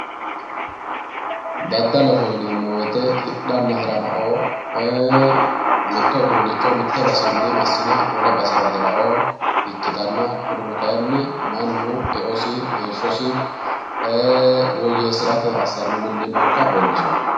dadaloho yineemmo woyte mitto uduunnicho mitte basenni massine wole basera hi'ra ikkitanna kurino kayi eosi heeshshsosi woyyeessirara assanno millimmo ikkassi leellishshanno